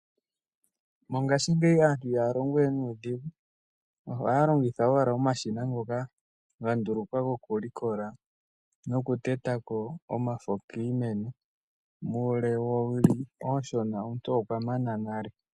Mongashingeyi aantu ihaa longowe nuudhigu, ohaya longitha owala omashina ngoka ga ndulukwa gokulikola nokuteta ko omafo kiimeno, muule woowili oonshona omuntu okwa mana nale.